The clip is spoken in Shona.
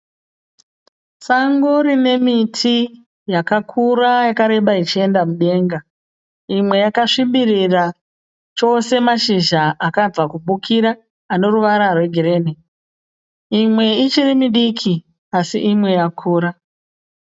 Sango rine miti yakakura yakareba ichienda mudenga. Imwe yakasvibirira chose mazhizha akabva kubukira ane ruvara rwegirini. Imwe ichiri midiki asi imwe yakura.